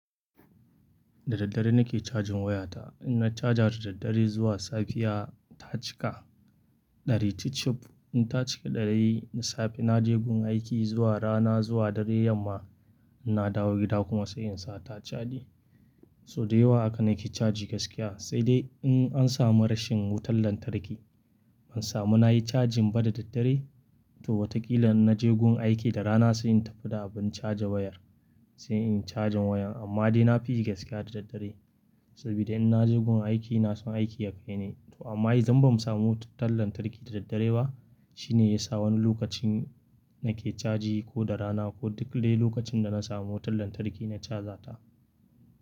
Da daddare nake chajin wayata. In na chaja da daddare zuwa safiya ta cika dari cifcif, in ta cika dari na safe na je gun aiki zuwa rana zuwa dari yamma ina dawo gida kuma sai in sa ta chaji. So da yawa haka nake caji gaskiya sai dai in an samu rashin wutan lantarki. Ban samu na yi cajin ba da daddare to watakila in na je gun aiki da rana sai in tafi da abun chaja wayar sai in yi cajin wayar. Amma dai na fi yi gaskiya da daddare saboda in na je gun aiki na so aiki ya kai ni. To amma idan bamu samu wutan lantarki da daddare ba shine yasa wani lokacin nake caji ko da rana ko duk dai lokacin da na samu wutan lantarki na caja ta.